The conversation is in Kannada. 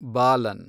ಬಾಲನ್